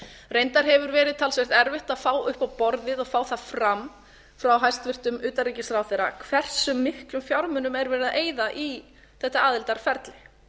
reyndar hefur verið talsvert erfitt að fá upp á borðið og fá það fram frá hæstvirtum utanríkisráðherra hvers miklum fjármunum er verið að eyða í þetta aðildarferli